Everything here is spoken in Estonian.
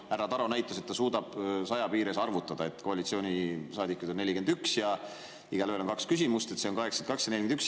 Härra Taro näitas, et ta suudab 100 piires arvutada, et koalitsioonisaadikuid on 41 ja igaühel on kaks küsimust, see on 82 ja 41.